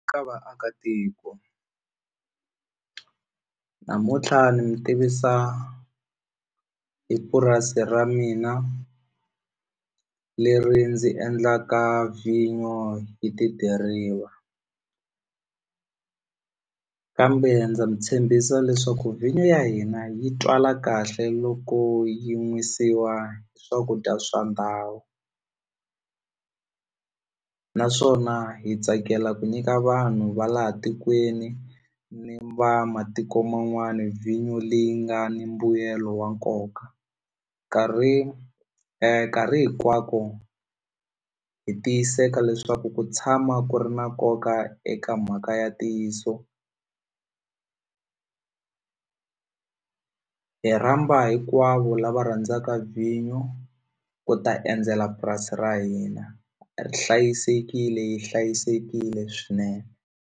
Ka vaakatiko namuntlha ni mi tivisa hi purasi ra mina leri ndzi endlaka vhinyo hi tidiriva kambe ndza mi tshembisa leswaku vhinyo ya hina yi tswala kahle loko yi nwisiwa swakudya swa ndhawu naswona hi tsakela ku nyika vanhu va laha tikweni ni va matiko man'wani vhinyo leyi nga ni mbuyelo wa nkoka nkarhi nkarhi hinkwako hi tiyiseka leswaku ku tshama ku ri na nkoka eka mhaka ya ntiyiso hi rhamba hinkwavo lava rhandzaka vhinyo ku ta endzela purasi ra hina ri hlayisekile yi hlayisekile swinene.